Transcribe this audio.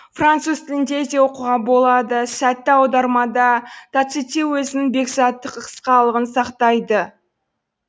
француз тілінде де оқуға болады сәтті аудармада тацитте өзінің бекзаттық қысқалығын сақтайды